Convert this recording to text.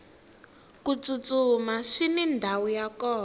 ku tsutsuma swini ndhawu ya kona